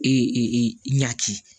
E ɲaki